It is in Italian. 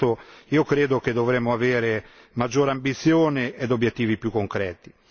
Su questo credo che dovremo avere maggiore ambizione e obiettivi più concreti.